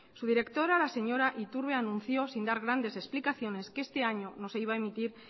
su directora la señora iturbe anunció sin dar grandes explicaciones que este año no se iba a emitir